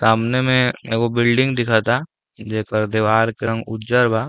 सामने में एगो बिल्डिंग दिखता जेकर देवार के रंग उज्जर बा।